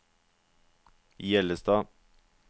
Hjellestad